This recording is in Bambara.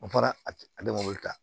N fana ale man kan